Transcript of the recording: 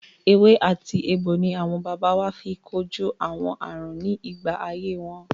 Ewé àti egbò ni àwọn baba wa fi kojú àwọn àrùn ní ìgbà ayé wọn.